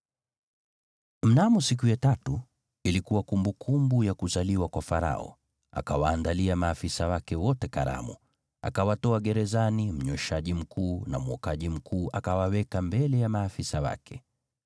Mnamo siku ya tatu, ilikuwa kumbukumbu ya kuzaliwa kwa Farao, naye akawaandalia maafisa wake wote karamu. Akawatoa gerezani mnyweshaji mkuu na mwokaji mkuu, akawaweka mbele ya maafisa wake: